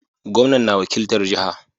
Gomnan na wakiltar jaha